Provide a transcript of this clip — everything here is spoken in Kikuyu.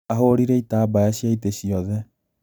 Ahũrire itambaya cia itĩ ciothe